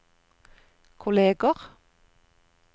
kolleger